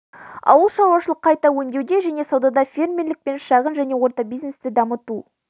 ауылшаруашылық қайта өңдеуде және саудада фермерлік пен шағын және орта бизнесті дамыту